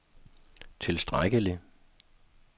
tilstrækkelig